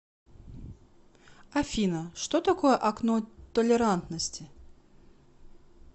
афина что такое окно толерантности